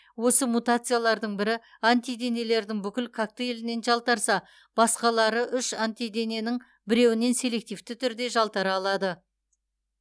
осы мутациялардың бірі антиденелердің бүкіл коктейлінен жалтарса басқалары үш антидененің біреуінен селективті түрде жалтара алады